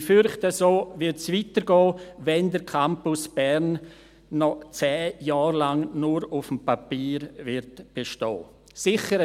Ich fürchte, so wird es weitergehen, wenn der Campus Bern noch zehn Jahre lang nur auf dem Papier bestehen wird.